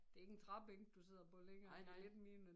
Det ikke en træbænk du sidder på længere det lidt mere